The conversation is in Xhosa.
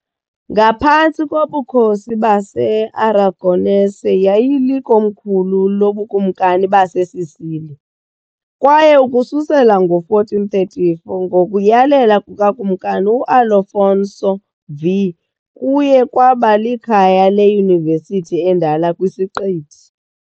Ngaphantsi kobukhosi base-Aragonese yayilikomkhulu loBukumkani baseSicily, kwaye ukususela ngo-1434 ngokuyalela kukaKumkani u-Alfonso V kuye kwaba likhaya leyunivesithi endala kwisiqithi .